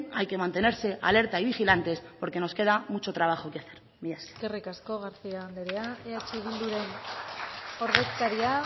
hay que mantenerse alerta y vigilantes porque nos queda mucho trabajo que hacer milla esker eskerrik asko garcía anderea eh bilduren ordezkaria